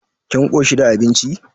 Kin koshi da abincin kuwa?